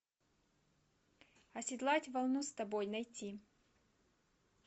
оседлать волну с тобой найти